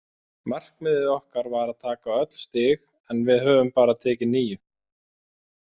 Markmiðið okkar var að taka öll stig en við höfum bara tekið níu.